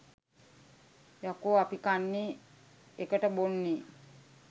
යකෝ අපි කන්නේ එකට බොන්නේ